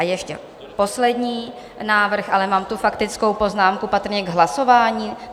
A ještě poslední návrh - ale mám tu faktickou poznámku, patrně k hlasování.